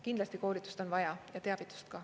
Kindlasti koolitust on vaja ja teavitust ka.